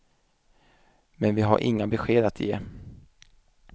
Men vi har inga besked att ge.